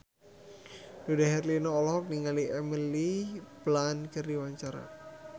Dude Herlino olohok ningali Emily Blunt keur diwawancara